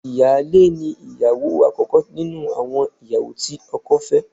Ìyáálé ni ìyàwó àkọ́kọ́ nínú àwọn ìyàwó tí ọkọ fẹ́